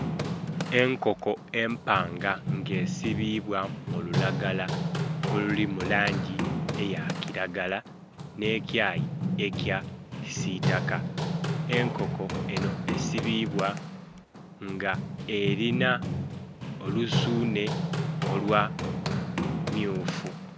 Enkoko empanga nga esibibwa mululagala oluli mulangi eya kiragala n'ekyayi eky kisitaka enkoko eno esibibwa nga erinha olusunhe olwa mmyufu.